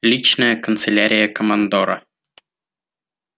личная канцелярия командора